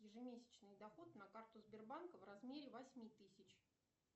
ежемесячный доход на карту сбербанка в размере восьми тысяч